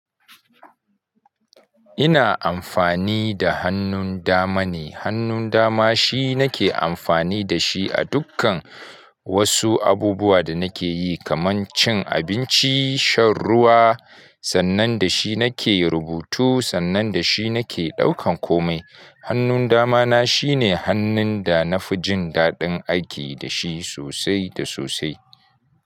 Ina amfani da hannun dama ne. Hannun dama shi nake amfani da shi a dukkan wasu abubuwa da nake yi kamar cin abinci, shan ruwa, sannan da shi nake rubutu, sannan da shi nake ɗaukan komai Hannun dama na shine hannun da na fi jin daɗin aiki da shi sosai da sosai.